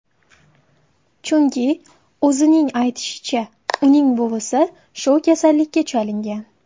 Chunki, o‘zining aytishicha, uning buvisi shu kasallikka chalingan.